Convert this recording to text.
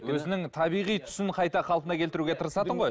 өзінің табиғи түсін қайта қалпына келтіруге тырысатын ғой